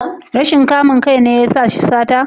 Rashin kamun kai ne ya sa shi sata?